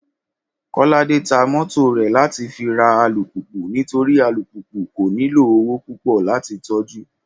Kọ́ládé ta mọ́tò rẹ̀ láti fi ra alùpùpù torí alùpùpù kò nílò owó púpọ̀ láti tọ́jú